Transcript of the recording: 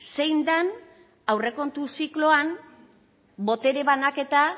zein den aurrekontu zikloan botere banaketa